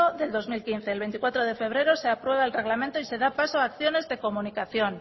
del dos mil quince el veinticuatro de febrero se aprueba el reglamento y se da paso a acciones de comunicación